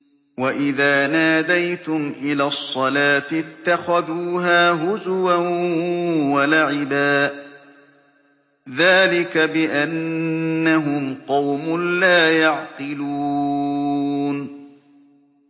وَإِذَا نَادَيْتُمْ إِلَى الصَّلَاةِ اتَّخَذُوهَا هُزُوًا وَلَعِبًا ۚ ذَٰلِكَ بِأَنَّهُمْ قَوْمٌ لَّا يَعْقِلُونَ